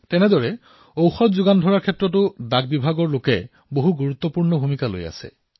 সেইদৰে ঔষধসমূহৰ যোগানত আমাৰ ডাকবিভাগৰ লোকেও গুৰুত্বপূৰ্ণ ভূমিকা পালন কৰিছে